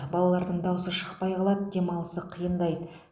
балалардың даусы шықпай қалады демалысы қиындайды